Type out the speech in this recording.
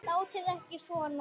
Látið ekki svona.